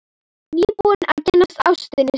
Nýbúinn að kynnast ástinni sinni.